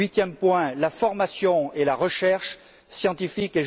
Huitième point, la formation et la recherche scientifiques.